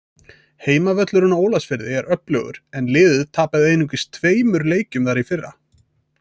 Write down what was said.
Heimavöllurinn á Ólafsfirði er öflugur en liðið tapaði einungis tveimur leikjum þar í fyrra.